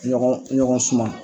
Ɲɔgɔn ɲɔgɔn suman